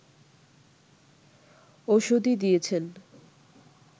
ওষুধই দিয়েছেন